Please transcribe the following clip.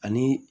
Ani